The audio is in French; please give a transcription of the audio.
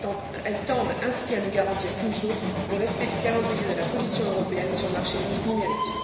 Elles tendent ainsi à ne garantir qu'une seule chose le respect du calendrier de la Commission européenne sur le marché unique numérique.